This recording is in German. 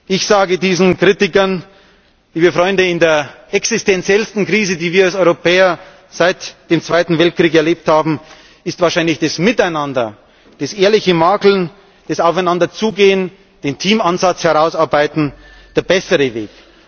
Ich sage diesen Kritikern Liebe Freunde, in der existenziellsten Krise, die wir als Europäer seit dem Zweiten Weltkrieg erlebt haben, ist wahrscheinlich das Miteinander, das ehrliche Makeln, das Aufeinander zugehen, das Herausarbeiten des Teamansatzes der bessere Weg.